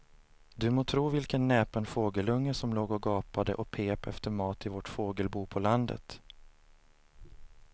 Du må tro vilken näpen fågelunge som låg och gapade och pep efter mat i vårt fågelbo på landet.